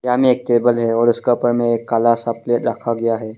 Table है और उसका ऊपर में एक काला सा प्लेट रखा गया है।